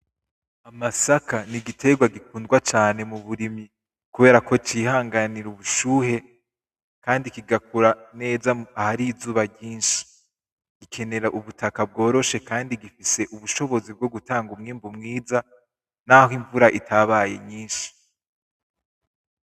Amasaka ni igiterwa gikundwa cane mu burimyi kubera ko cihanganira ubushuhe kandi kigakura neza aho ari izuba ryinshi. Gikenera ubutaka bworoshe kandi gifise ubushobozi bwo gutanga umwimbu mwiza naho imvura itabaye nyinshi.